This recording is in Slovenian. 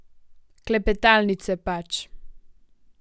Klepetalnice, pač.